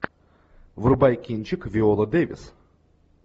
врубай кинчик виола дэвис